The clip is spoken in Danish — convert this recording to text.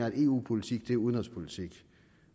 at eu politik er udenrigspolitik